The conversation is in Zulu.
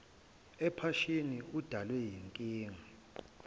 ephashini udalwe yinkinga